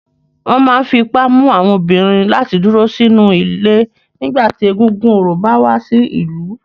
Wọn máa ń fi ipá mú àwọn obìnrin láti dúró sínú ilé nígbà tí egúngún orò bá wá sí ìlú.